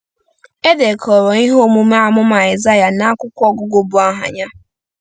E dekọrọ ihe omume amụma Aịsaịa n’akwụkwọ ọgụgụ bu aha ya.